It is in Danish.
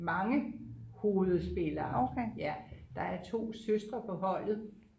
mange hovedspillere ja der er 2 søstre på holdet